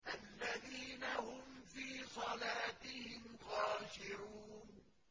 الَّذِينَ هُمْ فِي صَلَاتِهِمْ خَاشِعُونَ